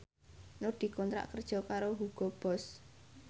Nur dikontrak kerja karo Hugo Boss